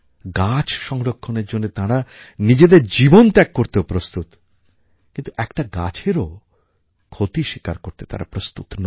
গাছ সংরক্ষণের জন্য তারা নিজেদের জীবন ত্যাগ করতেও প্রস্তুত কিন্তু একটা গাছেরও ক্ষতি স্বীকার করতে তারা প্রস্তুত নয়